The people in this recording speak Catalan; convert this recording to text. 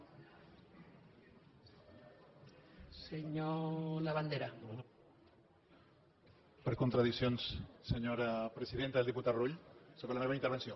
per contradiccions senyora presidenta del diputat rull sobre la meva intervenció